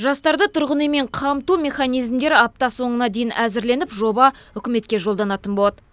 жастарды тұрғын үймен қамту механизмдері апта соңына дейін әзірленіп жоба үкіметке жолданатын болады